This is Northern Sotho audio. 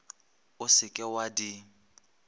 o se ke wa di